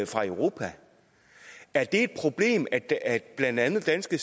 fra europa er det et problem at at blandt andet danske